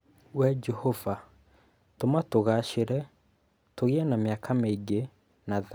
"Wee Jehova, tũma tũgaacĩre, tũgĩe na mĩaka mĩingĩ, na thayũ!"